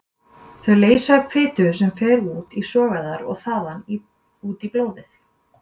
Þau leysa upp fitu sem fer út í sogæðar og þaðan út í blóðið.